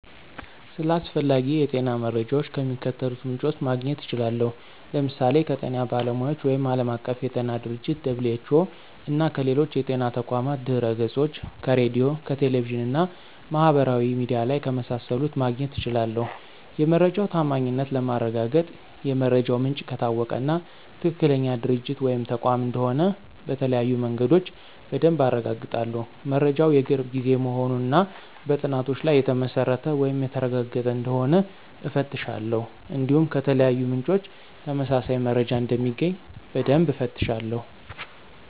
ስለ አስፈላጊ የጤና መረጃዎች ከሚከተሉት ምንጮች ማግኘት እችላለሁ፦ ለምሳሌ ከጤና ባለሙያዎች ወይም ዓለም አቀፍ የጤና ድርጅቶች - (WHO)፣ እና ከሌሎች የጤና ተቋማት ድህረገጾች፣ ከሬዲዮ፣ ከቴሌቪዥን እና ማህበራዊ ሚዲያ ላይ ከመሳሰሉት ማግኘት እችላለሁ። የመረጃው ታማኝነት ለማረጋገጥ የመረጃው ምንጭ ከታወቀ እና ትክክለኛ ድርጅት ወይም ተቋም እንደሆነ በተለያዩ መንገዶች በደንብ አረጋግጣለሁ። መረጃው የቅርብ ጊዜ መሆኑን እና በጥናቶች ላይ የተመሰረተ ወይም የተረጋገጠ እንደሆነ እፈትሻለሁ። እንዲሁም ከተለያዩ ምንጮች ተመሳሳይ መረጃ እንደሚገኝ በደንብ እፈትሻለሁ።